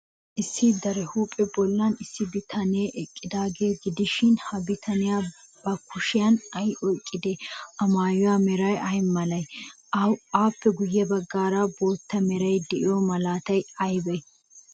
Issi daraphphaa bollan issi bitanee eqqidaagaa gidishin, ha bitanee ba kushiyan ay oyqqidee? A maayuwaa meray ay malee? Appe guyyeera bootta meray de'iyoo malaatay aybee?